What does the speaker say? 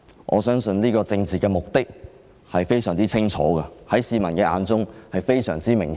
我相信政府當局的政治目的，在市民眼中十分清楚和明顯。